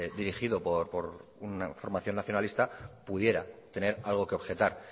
dirigido por una formación nacionalista pudiera tener algo que objetar